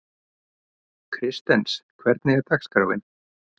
Kristens, hvernig er dagskráin?